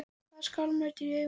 Hvað er skálmöld í ykkar augum?